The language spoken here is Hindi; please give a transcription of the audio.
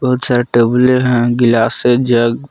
बहुत सारे टेबले है गिलासे जग --